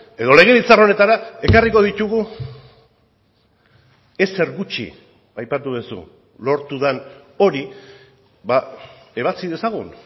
edo legebiltzar honetara ekarriko ditugu ezer gutxi aipatu duzu lortu den hori ebatzi dezagun